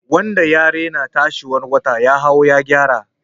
Wanda ya rena tsayuwar wata ya hau ya gyara.